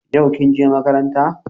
Yau kin je makaranta?